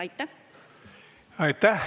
Aitäh!